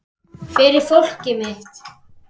Fyrir fólkið mitt.